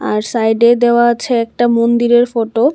আর সাইডে দেওয়া আছে একটা মন্দিরের ফটো ।